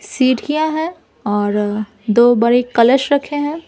Seat किया है और दो बड़े कलश रखे हैं।